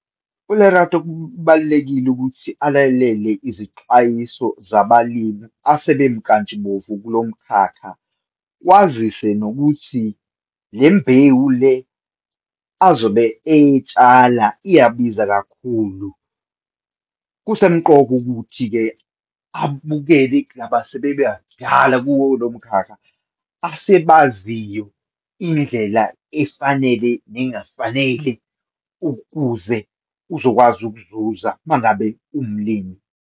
ULerato, kubalulekile ukuthi alalele izixwayiso zabalimi asebemnkantshubovu kulo mkhakha. Wazise nokuthi le mbewu le azobe eyitshala iyabiza kakhulu. Kusemqoka ukuthi-ke abukele kulaba asebebadala kuwo lo mkhakha asebaziyo indlela efanele nengafanele ukuze uzokwazi ukuzuza uma ngabe uwumlimi.